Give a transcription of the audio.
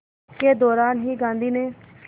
के दौरान ही गांधी ने